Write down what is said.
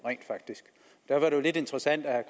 derfor er det jo lidt interessant at